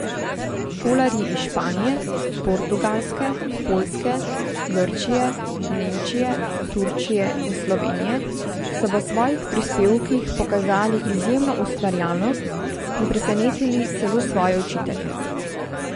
Šolarji iz Španije, Portugalske, Poljske, Grčije, Nemčije, Turčije in Slovenije so v svojih prispevkih pokazali izjemno ustvarjalnost in presenetili celo svoje učitelje.